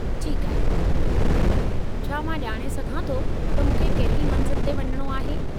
ठीकु आहे , छा मां ॼाणे सघां थो त मूंखे कहिड़ी मंज़िल ते वञणो आहे ?